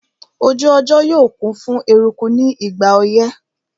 Ojú ọjọ́ yóò kún fún eruku ní ìgbà ọyẹ́